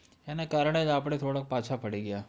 એના કારણે જ આપડે થોડોક પાછા પડી ગયા,